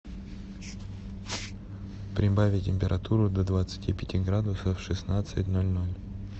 прибавить температуру до двадцати пяти градусов в шестнадцать ноль ноль